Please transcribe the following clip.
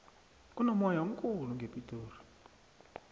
kunomoya omkhulu ngepitori